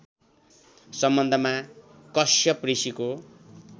सम्बन्धमा कश्यप ऋषिको